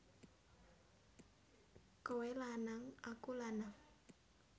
Kowe lanang aku lanang